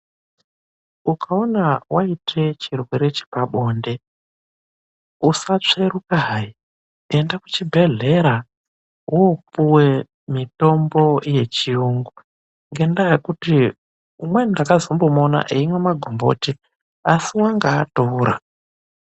Ukawona waite chirwere chepabonde, usatsvheruka hayi .Enda kuzvibhedhlera woopuwe mitombo yechiyungu ngendaa yekuti umweni ndakazombomuona eimwa magomboti asi wanga atoora.